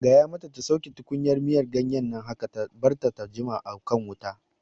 Gaya mata ta ta sauke tukunyar miyan ganyen nan haka! Ta barta ta jima a kan wuta